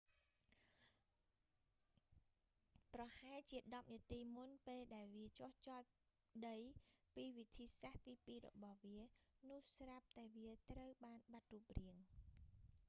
ប្រហែលជាដប់នាទីមុនពេលដែលវាចុះចតដីពីវិធីសាស្ត្រទីពីររបស់វា នោះស្រាប់តែវាត្រូវបានបាត់រូបរាង